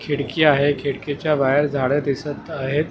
खिडकी आहे खिडकीच्या बाहेर झाडं दिसत आहेत.